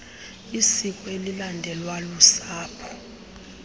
isiko elilandelwa lusapho